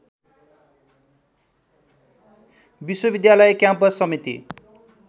विश्वविद्यालय क्याम्पस समिति